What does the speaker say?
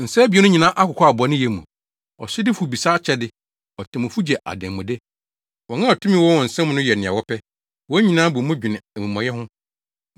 Nsa abien no nyinaa akokwaw bɔneyɛ mu; ɔsodifo bisa akyɛde, otemmufo gye adanmude, wɔn a tumi wɔ wɔn nsa mu no yɛ nea wɔpɛ, wɔn nyinaa bɔ mu dwene amumɔyɛ ho.